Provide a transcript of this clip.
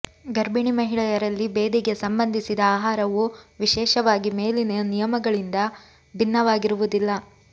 ಗರ್ಭಿಣಿ ಮಹಿಳೆಯರಲ್ಲಿ ಭೇದಿಗೆ ಸಂಬಂಧಿಸಿದ ಆಹಾರವು ವಿಶೇಷವಾಗಿ ಮೇಲಿನ ನಿಯಮಗಳಿಂದ ಭಿನ್ನವಾಗಿರುವುದಿಲ್ಲ